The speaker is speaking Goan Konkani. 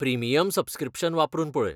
प्रिमियम सब्सक्रिप्शन वापरून पळय.